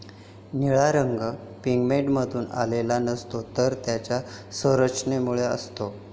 निळा रंग पिगमेंटमधून आलेला नसतो, तर त्याच्या संरचनेमुळे असतो.